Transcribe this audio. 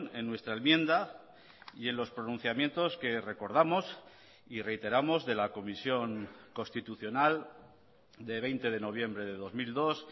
en nuestra enmienda y en los pronunciamientos que recordamos y reiteramos de la comisión constitucional de veinte de noviembre de dos mil dos